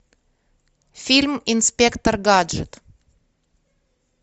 фильм инспектор гаджет